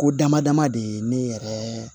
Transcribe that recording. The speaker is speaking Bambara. Ko damadama de ye ne yɛrɛɛ